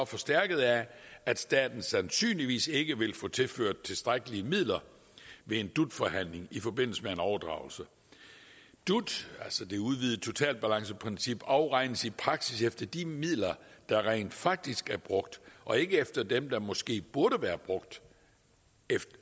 forstærket af at staten sandsynligvis ikke vil få tilført tilstrækkelige midler ved en dut forhandling i forbindelse med en overdragelse dut altså det udvidede totalbalanceprincip afregnes i praksis efter de midler der rent faktisk er brugt og ikke efter dem der måske burde være brugt